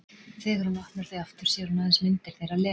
Þegar hún opnar þau aftur sér hún aðeins myndir þeirra Lenu.